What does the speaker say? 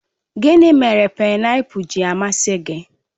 Gịnị mere painapul ji amasị gị?